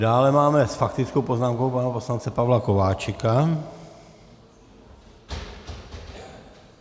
Dále máme s faktickou poznámkou pana poslance Pavla Kováčika.